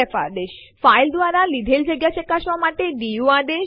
આ આદેશ ફાઈલ માં અક્ષરો શબ્દો અને લીટીઓની સંખ્યા ગણતરી કરવા માટે ઉપયોગી છે